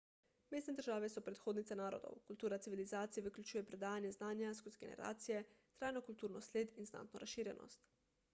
mestne države so predhodnice narodov kultura civilizacije vključuje predajanje znanja skozi generacije trajno kulturno sled in znatno razširjenost